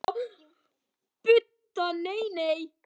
Budda: Nei, nei.